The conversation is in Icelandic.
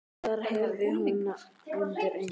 Það heyrði hún undir eins.